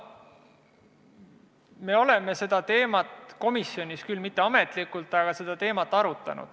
Me oleme seda teemat komisjonis arutanud, mitte küll ametlikult, aga siiski.